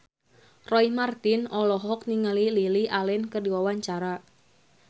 Roy Marten olohok ningali Lily Allen keur diwawancara